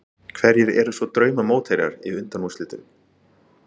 Hverjir eru svo drauma mótherjar í undanúrslitum?